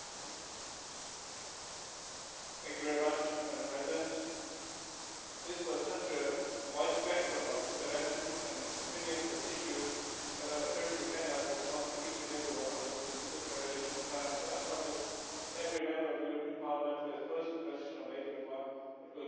Madam President, this was such a wide spectrum of interventions and opinions and issues that I certainly cannot respond to each and every one of them in the very limited time, so I promise to every Member of the European Parliament who has posed a question or made a remark that we will come back individually to those issues which I cannot